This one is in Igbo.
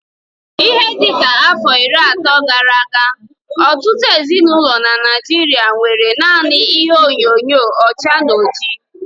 Ihe dịka afọ iri ato gara aga, ọtụtụ ezinaụlọ n'Naijiria nwéré nanị ihe onyinyo ọcha na ọjị